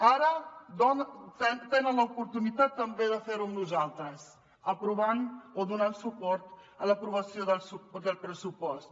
ara tenen l’oportunitat també de fer ho amb nosaltres aprovant o donant suport a l’aprovació del pressupost